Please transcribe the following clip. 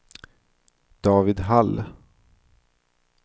David Hall